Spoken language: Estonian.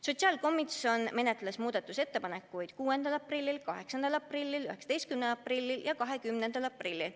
Sotsiaalkomisjon menetles muudatusettepanekuid 6. aprillil, 8. aprillil, 19. aprillil ja 20. aprillil.